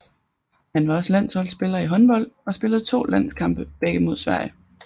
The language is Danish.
Han var også landsholdspiller i håndbold og spillede to landskampe begge mod Sverige